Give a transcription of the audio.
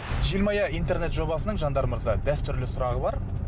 желмая интернет жобасының жандар мырза дәстүрлі сұрағы бар